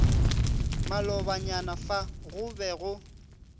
malobanyana fa go be go